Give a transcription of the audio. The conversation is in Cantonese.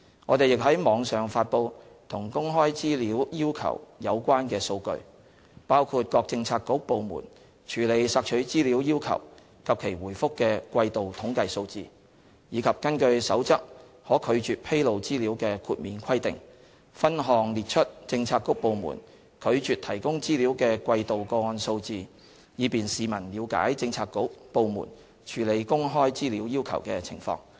我們亦於網上發布與公開資料要求有關的數據，包括各政策局/部門處理索取資料要求及其回覆的季度統計數字，以及根據《守則》可拒絕披露資料的豁免規定，分項列出政策局/部門拒絕提供資料的季度個案數字，以便市民了解政策局/部門處理公開資料要求的情況。